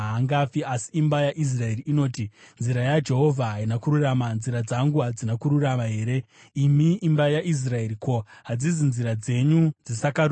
Asi imba yaIsraeri inoti, ‘Nzira yaJehovha haina kururama.’ Nzira dzangu hadzina kururama here, imi imba yaIsraeri? Ko, hadzisi nzira dzenyu dzisakarurama here?